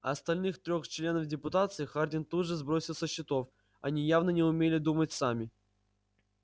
остальных трёх членов депутации хардин тут же сбросил со счетов они явно не умели думать сами